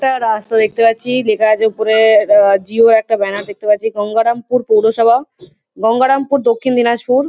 একটা রাস্তা দেখতে পাচ্ছি লেখা আছে উপরে আ জিও একটা ব্যানার দেখতে পাচ্ছি। গঙ্গারামপুর পৌরসভা। গঙ্গারামপুর দক্ষিণ দিনাজপুর।